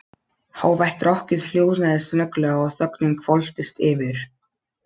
Hávært rokkið hljóðnaði snögglega og þögnin hvolfdist yfir.